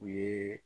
U ye